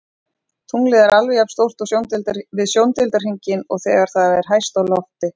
Tunglið er alveg jafn stórt við sjóndeildarhringinn og þegar það er hæst á lofti.